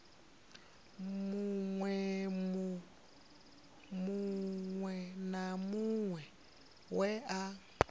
muṅwe na muṅwe we a